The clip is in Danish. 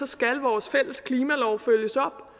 skal vores fælles klimalov følges op